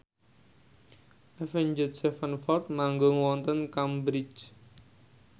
Avenged Sevenfold manggung wonten Cambridge